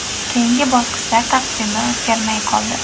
Keyingi bosqichlar taqvimi o‘zgarmay qoldi.